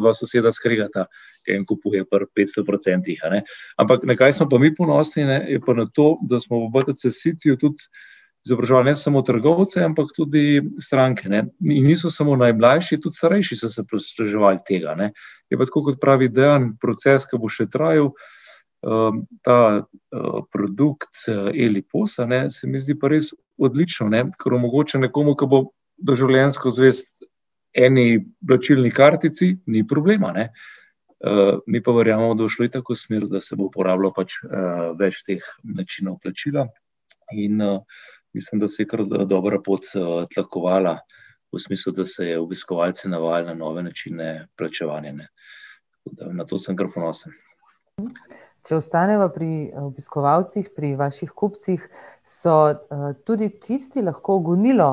dva soseda skregata, en kupuje pri petsto procentih, a ne. Ampak na kaj smo pa mi ponosni, ne, je pa na to, da smo v BTC Cityju tudi izobraževali ne samo trgovce, ampak tudi stranke, ne, niso samo najmlajši, tudi starejši so se posluževali tega, ne. Je pa tako, kot pravi Dejan, proces, ki bo še trajal, ta, produkt, Eli Pos, a ne, se mi zdi pa res odlično, ne, ker omogoča nekomu, ki bo doživljenjsko zvest eni plačilni kartici, ni problema, ne. mi pa verjamemo, da bo šlo itak v smer, da se bo uporabljalo pač, več teh načinov plačila, in, mislim, da se je kar, dobra pot, tlakovala, v smislu, da se je obiskovalce navajalo na nove načine plačevanja, ne. Tako da na to sem kar ponosen. Če ostaneva pri, obiskovalcih, pri vaših kupcih, so, tudi tisti lahko gonilo,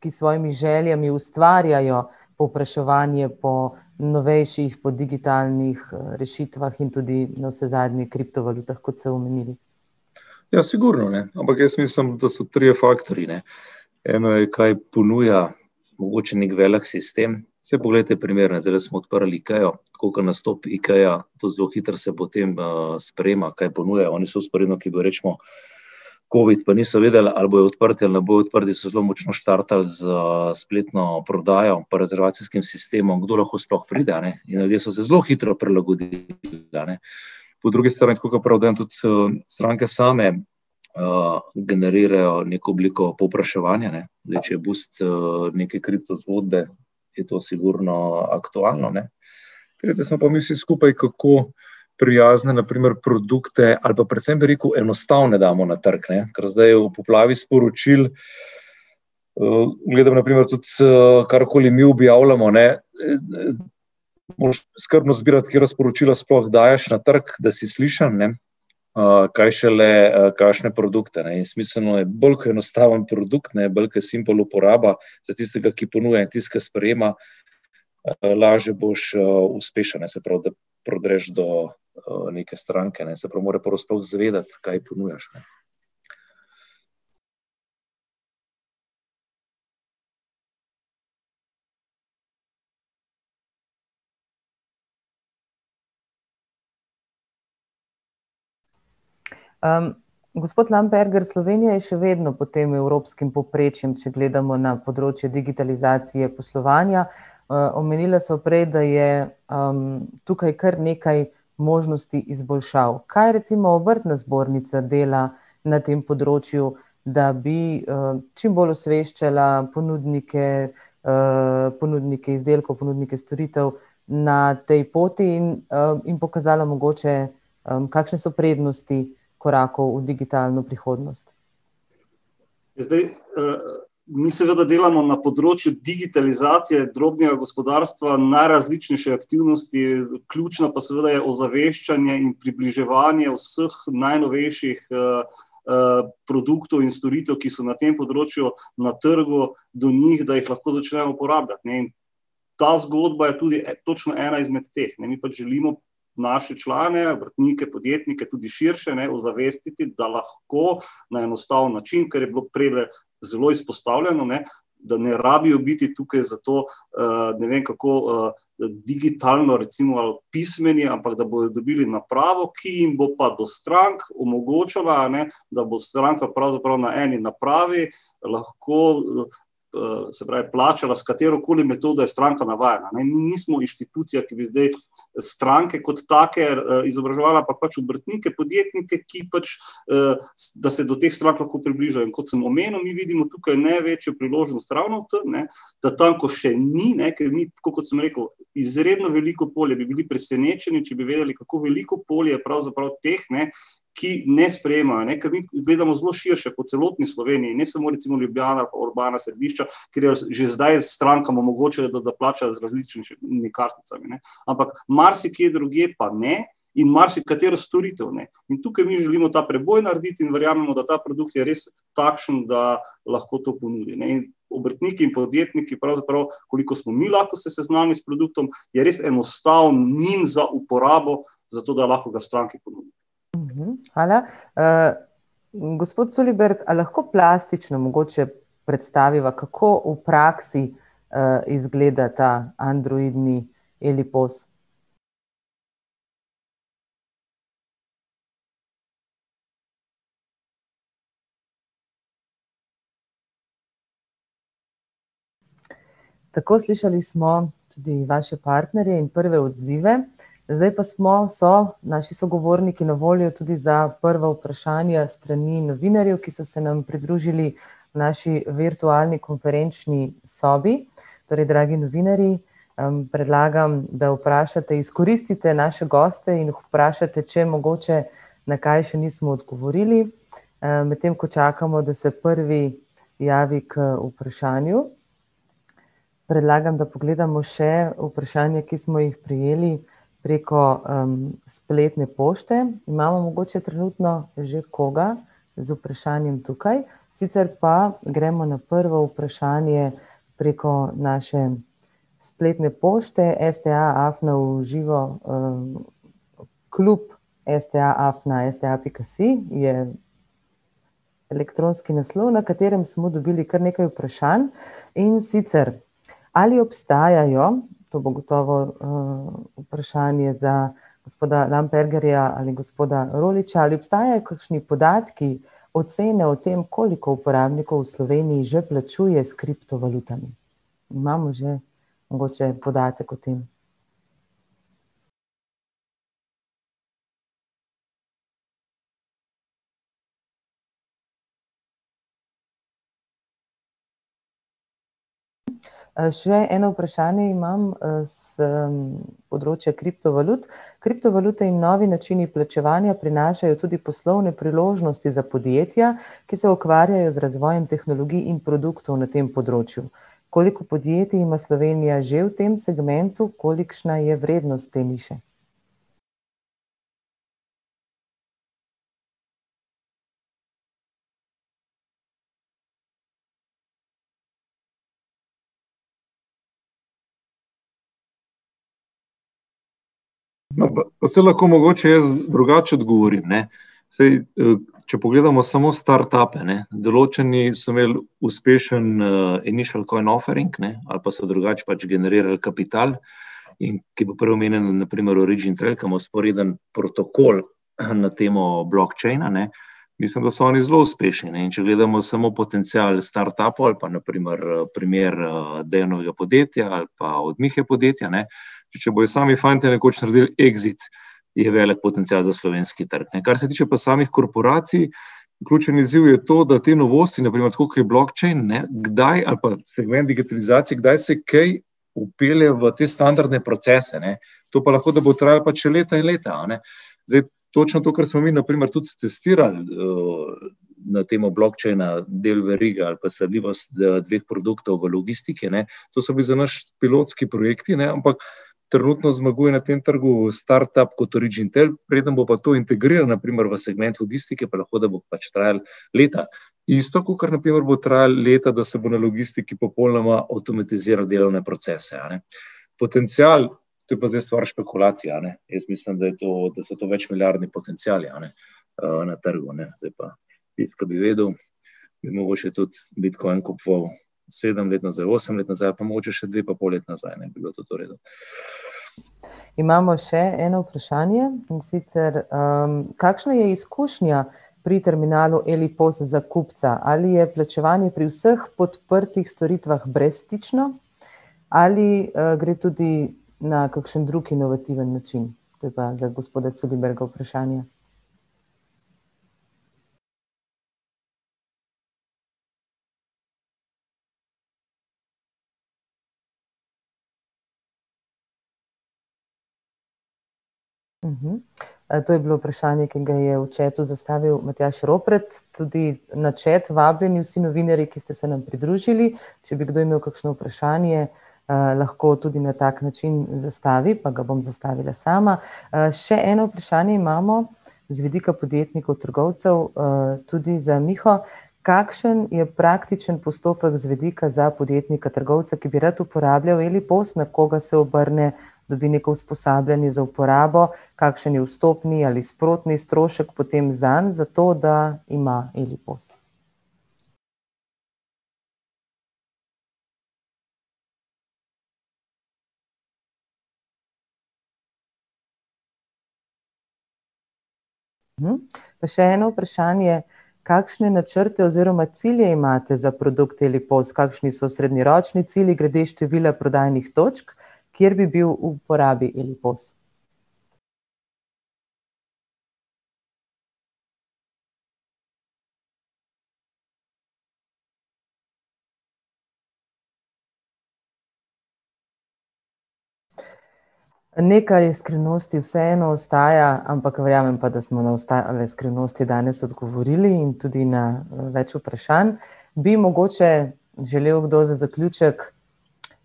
ki s svojimi željami ustvarjajo povpraševanje po novejših, po digitalnih, rešitvah in tudi navsezadnje kriptovalutah, kot ste omenili? Ja, sigurno, ne, ampak jaz mislim, da so trije faktorji, ne. Eno je, kaj ponuja mogoče neki velik sistem, saj poglejte primer, ne, zdajle smo odprli Ikeo, tako kot nastopi Ikea, to zelo hitro se potem, sprejema, kaj ponujajo, oni so covid, pa niso vedeli, ali bojo odprte ali ne bojo odprti, so zelo močno štartali s spletno prodajo pri rezervacijskem sistemu, kdo lahko sploh pride, a ne, in ljudje so se zelo hitro prilagodili tudi, a ne. Po drugi strani, tako kot pravi Dejan, tudi, stranke same, generirajo neko obliko povpraševanja, ne. Zdaj če je boost, neke kriptozgodbe, je to sigurno aktualno, ne. mi vsi skupaj, kako prijazne, na primer, produkte ali pa predvsem, bi rekel, enostavne damo na trg, ne, ker zdaj v poplavi sporočil, gledam na primer tudi, karkoli mi objavljamo, ne, moraš skrbno izbirati, katera sporočila sploh daješ na trg, da si slišan, ne. kaj šele, kakšne produkte, ne, in smiselno je, bolj ke je enostaven produkt, ne, bolj ke je simple uporaba za tistega, ki ponuja, in tisti, ke sprejema, lažje boš, uspešen, ne, se pravi, da prodreš do, neke stranke, ne, se pravi mora prvo sploh izvedeti, kaj ponujaš, ne. gospod Lamperger, Slovenija je še vedno pod tem evropskim povprečjem, če gledamo na področje digitalizacije poslovanja. omenila sva prej, da je, tukaj kar nekaj možnosti izboljšav. Kaj recimo Obrtna zbornica dela na tem področju, da bi, čim bolj osveščala ponudnike, ponudnike izdelkov, ponudnike storitev na tej poti in, in pokazala mogoče, kakšne so prednosti korakov v digitalno prihodnost? Zdaj, mi svda delamo na področju digitalizacije drobnega gospodarstva, najrazličnejše aktivnosti, ključna pa seveda je pa ozaveščanje in približevanje vseh najnovejših, produktov in storitev, ki so na tem področju na trgu, do njih, da jih lahko začnemo uporabljati, ne. Ta zgodba je tudi točno ena izmed teh, ne, mi pač želimo naše člane, obrtnike, podjetnike, tudi širše, ne, ozavestiti, da lahko na enostaven način, ker je bilo prejle zelo izpostavljeno, ne, da ne rabijo biti tukaj zato, ne vem, kako, digitalno recimo pismeni, ampak da bojo dobili napravo, ki jim bo pa do strank omogočala, a ne, da bo stranka pravzaprav na eni napravi lahko se pravi, plačala s katerokoli metodo je stranka navajena, ne, mi nismo inštitucija, ki bi zdaj stranke kot take, izobraževala, pa pač obrtnike, podjetnike, ki pač, da se do teh strank lahko približajo, in kot sem omenil, mi vidimo tukaj največjo priložnost ravno v tem, ne, da tam, ko še ni, ne, ker mi, tako kot sem rekel, izredno veliko polje, bi bili presenečeni, če bi vedeli, kako veliko polje pravzaprav teh, ne, ki ne sprejemajo, a ne, ker mi gledamo zelo širše, po celotni Sloveniji, ne samo recimo Ljubljana pa urbana središča, katera že zdaj strankam omogočajo, da, da plačajo z različnejšimi karticami, ne. Ampak marsikje drugje pa ne in marsikatero storitev ne, in tukaj mi želijo ta preboj narediti in verjamemo, da ta produkt je res takšen, da lahko to ponudi, ne, in obrtniki in podjetniki pravzaprav, koliko smo mi lahko se seznanili s produktom, je res enostaven njim za uporabo, zato da lahko ga stranki ponudimo. hvala. gospod Culiberg, a lahko plastično mogoče predstaviva, kako v praksi, izgleda ta androidni Eli Pos? Tako, slišali smo tudi vaše partnerje in prve odzive. Zdaj pa smo, so naši sogovorniki na voljo tudi za prva vprašanja s strani novinarjev, ki so se nam pridružili, naši virtualni konferenčni sobi. Torej, dragi novinarji, predlagam, da vprašate, izkoristite naše goste in jih vprašate, če mogoče na kaj še nismo odgovorili. medtem ko čakamo, da se prvi javi k vprašanju, predlagam, da pogledamo še vprašanja, ki smo jih prejeli preko, spletne pošte, imamo mogoče trenutno že koga z vprašanjem tukaj? Sicer pa gremo na prvo vprašanje preko naše spletne pošte, sta afna v živo, klub sta afna sta pika si, je elektronski naslov, na katerem smo dobili kar nekaj vprašanj. In sicer, ali obstajajo, to bo gotovo, vprašanje za gospoda Lampergerja ali gospoda Roljiča, ali obstajajo kakšni podatki, ocene o tem, koliko uporabnikov v Sloveniji že plačuje s kriptovalutami? Imamo že mogoče podatek o tem? še eno vprašanje imam, s področja kriptovalut, kriptovalute in novi načini plačevanja prinašajo tudi poslovne priložnosti za podjetja, ki se ukvarjajo z razvojem tehnologij in produktov na tem področju. Koliko podjetij ima Slovenija že v tem segmentu, kolikšna je vrednost te niše? No, pa saj lahko mogoče jaz drugače odgovorim, ne, saj, če pogledamo samo startupe, ne, določeni so imeli uspešen, , a ne, ali pa so drugače generirali kapital, in ki je bil prej omenjen, na primer origin , ker ima vzporeden protokol na temo blockchain, a ne, mislim, da so oni zelo uspešni, ne, in če gledamo samo potencial startupov ali pa na primer, primer, Dejanovga podjetja ali pa od Mihe podjetja, ne, če bojo sami fantje nekoč naredili exit, je velik potencial za slovenski trg, ne, kar se tiče pa samih korporacij, ključni izziv je to, da te novosti, na primer, tako kot je blockchain, ne, kdaj ali pa , kdaj se kaj vpelje v te standardne procese, ne. To pa lahko, da bo trajalo pač še leta in leta, a ne. Zdaj, točno to, kar smo mi na primer tudi testirali, na temo blockchaina, del verige ali pa sledljivost, teh produktov v logistiki, ne, to so bili za naš pilotski projekti, ne, ampak trenutno zmaguje na tem trgu startup kot origin , preden bo pa to integriral v segment logistike pa, lahko da, bo pač trajalo leta. Isto, kakor na primer bo trajalo leta, da se bo na logistiki popolnoma avtomatiziralo delovne procese, a ne. Potencial, to je pa zdaj stvar špekulacije, a ne. Jaz mislim, da je to, da so to večmilijardni potenciali, a ne, na trgu, ne, zdaj pa tisto, ke bi vedel, bi mogel še tudi bitcoin kupoval sedem let nazaj, osem let nazaj pa mogoče še dve pa pol leti nazaj, ne, bi bilo tudi v redu. Imamo še eno vprašanje, in sicer, kakšna je izkušnja pri terminalu Eli Pos za kupca, ali je plačevanje pri vseh podprtih storitvah brezstično ali, gre tudi na kakšen drug inovativen način? To je pa za gospoda Culiberga vprašanje. to je bilo vprašanje, ki ga je v chatu zastavil Matjaž Ropret. Tudi na chat vabim, vsi novinarji, ki ste se nam pridružili, če bi kdo imel kakšno vprašanje, lahko tudi na tak način zastavi pa ga bom zastavila sama. še eno vprašanje imamo z vidika podjetnikov trgovcev, tudi za Miho. Kakšen je praktičen postopek z vidika za podjetnika trgovca, ki bi rad uporabljal Eli Pos, na koga se obrne, dobi neko usposabljanje za uporabo? Kakšen je vstopni ali sprotni strošek potem zanj, zato da ima Eli Pos? Pa še eno vprašanje, kakšne načrte oziroma cilje imate za produkt Eli Pos, kakšni so srednjeročni cilji glede števila prodajnih točk, kjer bi bil v uporabi Eli Pos? Nekaj skrivnosti vseeno ostaja, ampak verjamem pa, da smo na ostale skrivnosti danes odgovorili in tudi na več vprašanj. Bi mogoče želel kdo za zaključek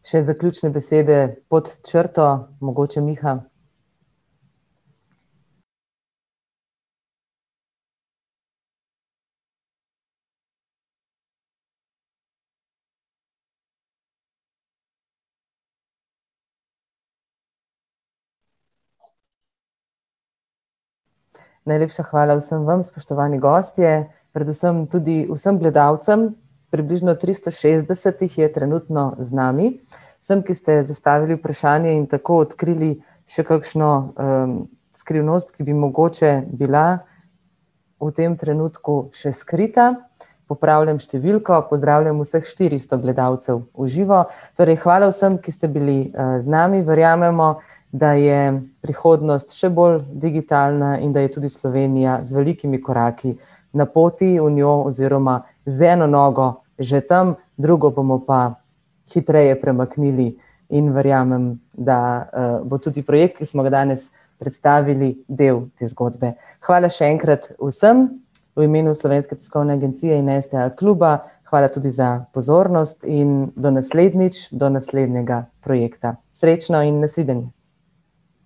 še zaključne besede pod črto, mogoče Miha? Najlepša hvala vsem vam, spoštovani gostje, predvsem tudi vsem gledalcem, približno tristo šestdeset jih je trenutno z nami, vsem, ki ste zastavili vprašanje in tako odkrili še kakšno, skrivnost, ki bi mogoče bila v tem trenutku še skrita. Popravljam številko, pozdravljam vseh štiristo gledalcev v živo, torej hvala vsem, ki ste bili, z nami, verjamemo, da je prihodnost še bolj digitalna in da je tudi Slovenija z velikimi koraki na poti v njo oziroma z eno nogo že tam, drugo bomo pa hitreje premaknili, in verjamem, da, bo tudi projekt, ki smo ga danes predstavili, del te zgodbe. Hvala še enkrat vsem v imenu Slovenske tiskovne agencije in STA kluba, hvala tudi za pozornost in do naslednjič, do naslednjega projekta. Srečno in na svidenje!